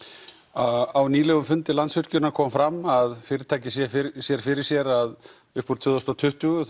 á nýlegum fundi Landsvirkjunar kom fram að fyrirtækið sér fyrir sér fyrir sér að upp úr tvö þúsund og tuttugu